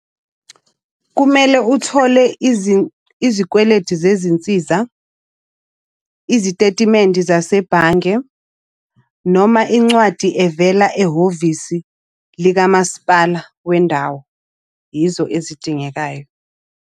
Kumele uthole izikweleti zezinsiza, izitetimende zasebhange, noma incwadi evela ehhovisi likamasipala wendawo. Yizo ezidingekayo.